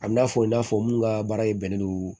A bi n'a fɔ i n'a fɔ mun ka baara ye bɛnnen don